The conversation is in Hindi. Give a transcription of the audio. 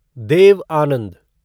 देव आनंद